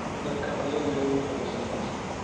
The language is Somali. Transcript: Dadka coodheynayin mar hore soo toseen.